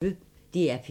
DR P1